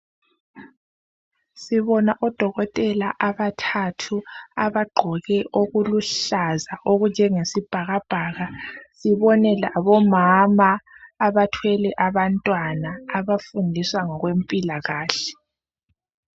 Sibona odokotela abathathu abagqoke okuluhlaza okunjengesibhakabhaka sibone labomama abathwele abantwana abafundiswa ngokwempilakahle